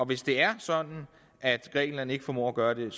hvis det er sådan at grækenland ikke formår at gøre det